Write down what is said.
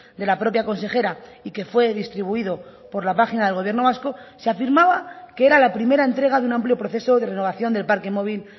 de la propia consejera y que fue distribuido por la página del gobierno vasco se afirmaba que era la primera entrega de un amplio proceso de renovación del parque móvil